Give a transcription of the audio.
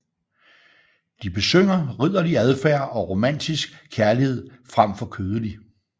De besynger ridderlig adfærd og romantisk kærlighed frem for kødelig